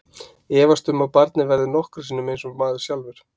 Efast um að barnið verði nokkru sinni eins og maður sjálfur.